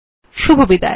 শুভবিদায়